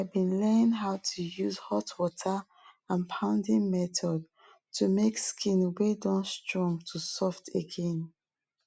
i been learn how to use hot water and pounding method to make skin wey don strong to soft again